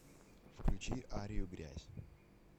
включи арию грязь